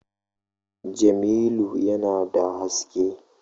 Jamilu yana da haske